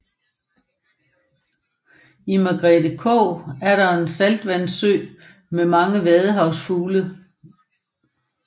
I Margrethe Kog er der en saltvandssø med mange vadefugle